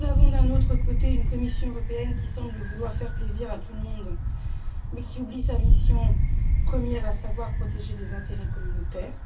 D'un autre côté, nous avons une Commission européenne qui semble vouloir faire plaisir à tout le monde mais oublie sa mission première, à savoir protéger les intérêts communautaires.